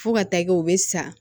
Fo ka taa kɛ u be sa